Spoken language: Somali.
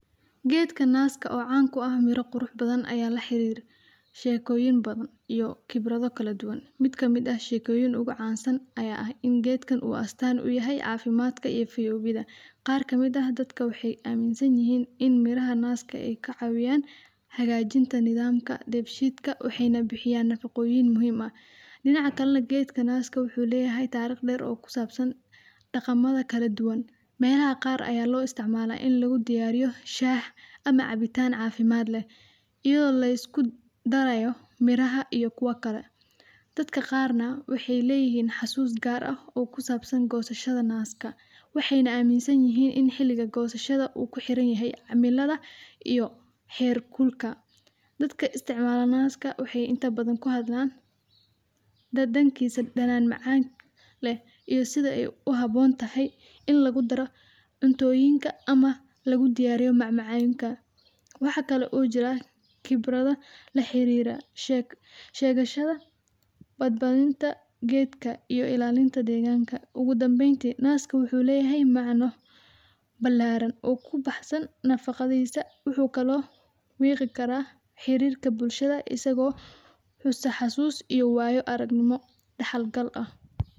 Gedka naska oo can kuah mira bathan ayaa laxirir shekoyin bathan iyo khibrada kaladuwan, mid kamid ah shekoyin ugucansan ayaa ah in gedkan uu astan uyahay cafimadka iyo fiyowida, qar kamid ah dadka waxay aminsanyihin in miraha naska ay kacawiyan hagajinta nadamka defshidka, waxey na bixiyan nafaqoyin muhim ah . Dinaca kale nah gedka naska wuxu leyahay tariq dher oo kusabsan daqamadha kala duwan , melaha qar ayaa lo isticmala in lagudiyariyo shah ama cabitan cafimad leh iyado liskudarayo miraha iyo kuwa kale. Dadka qar na waxay leyihin xasus gar eh kusabsan gosashada naska, waxeyna aminsanyihin in xiliga gosashada naska u kuxiranyahay cimalada iyo herkulka. Dadka isticmala naska waxey inta bathan kuhadlan, dadankisa danan macan leh iyo sida ay kuhabontahayin lagudaro cuntoyinka ama lugudiyariyo mamacanka. Waxaa kale oo jirah khibrada laxarira shegashada badbadinta gedka ama iyo ilalinta deganka. Ogu dambeynti naska wuxu leyahay micno bilaran oo kubaxsan nafaqadisa, wuxu kalo miqi karaah xirirka bulshada isag oo isaxasus iyo waayo aragnimo daxal gal ah